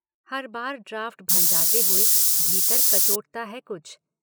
हर बार ड्राफ्ट भँजाते हुए भीतर कचोटता है कुछ।